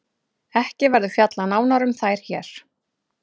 Ekki verður fjallað nánar um þær hér.